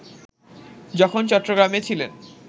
যখন চট্টগ্রামে ছিলেন